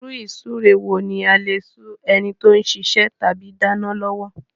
Ìrú-ìsúre wo ní a lè sú enití o sisẹ́ tàbí dánán lọ́wọ́